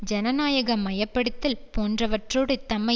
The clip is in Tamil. ஜனநாயக மயப்படுத்தல் போன்றவற்றோடு தம்மை